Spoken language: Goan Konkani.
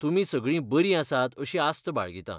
तुमी सगळीं बरीं आसातअशी आस्त बाळगितां.